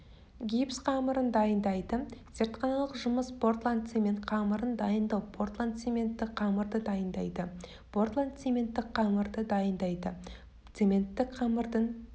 гипс қамырын дайындайды зертханалық жұмыс портландцемент қамырын дайындау портландцементті қамырды дайындайды портландцементтік қамырды дайындайды цементтік қамырдың